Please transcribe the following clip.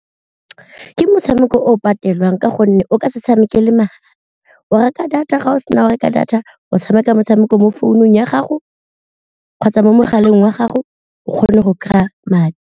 Ke motshameko o o patelwang ka gonne o ka se tshamekele , o reka data ga o sena go reka data o tshameka motshameko mo founung ya gago kgotsa mo mogaleng wa gago o kgone go kry-a madi.